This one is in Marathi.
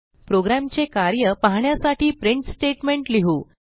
प्रोग्रॅमचे कार्य पाहण्यासाठी प्रिंट स्टेटमेंट लिहू